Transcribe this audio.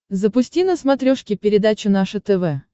запусти на смотрешке передачу наше тв